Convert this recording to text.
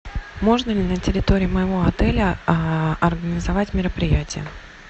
можно ли на территории моего отеля организовать мероприятие